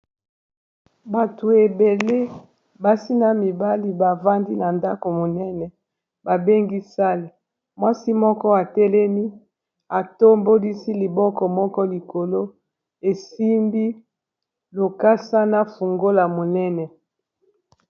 bato ebele basi na mibali bavandi na ndako monene babengi sale mwasi moko atelemi atombolisi liboko moko likolo esimbi lokasa na fungola monene